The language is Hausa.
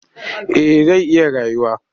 Eh zai iya rayuwa